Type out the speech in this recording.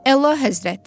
Əla Həzrət!